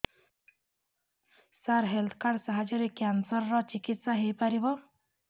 ସାର health card ସାହାଯ୍ୟରେ cancer ର ଚିକିତ୍ସା ହେଇପାରିବ